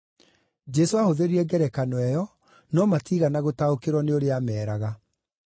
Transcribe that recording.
Jesũ aahũthĩrire ngerekano ĩyo, no matiigana gũtaũkĩrwo nĩ ũrĩa aameeraga.